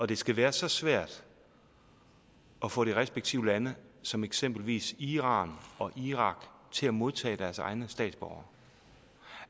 det skal være så svært at få de respektive lande som eksempelvis iran og irak til at modtage deres egne statsborgere